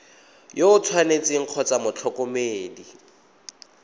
yo o tshwanetseng kgotsa motlhokomedi